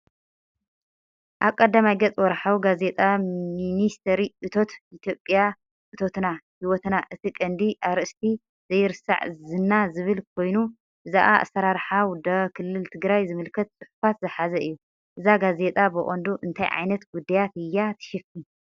ኣብ ቀዳማይ ገጽ ወርሓዊ ጋዜጣ ሚኒስትሪ እቶት ኢትዮጵያ "እቶትና፡ ህይወትና"። እቲ ቀንዲ ኣርእስቲ "ዘይርሳዕ ዝና" ዝብል ኮይኑ፡ ብዛዕባ ኣሰራርሓ ውደባ ክልል ትግራይ ዝምልከት ጽሑፋት ዝሓዘ እዩ። እዛ ጋዜጣ ብቐንዱ እንታይ ዓይነት ጉዳያት እያ ትሽፍን?